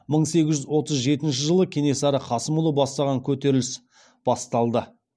мың сегіз жүз отыз жетінші жылы кенесары қасымұлы бастаған көтеріліс басталды